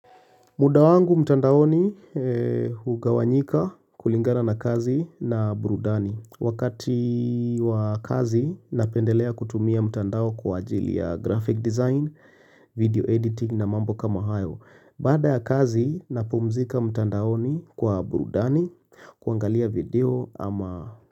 Muda wangu mtandaoni hugawanyika kulingana na kazi na burudani. Wakati wa kazi napendelea kutumia mtandao kwa ajili ya graphic design, video editing na mambo kama hayo. Badaa ya kazi napumzika mtandaoni kwa burudani kuangalia video ama.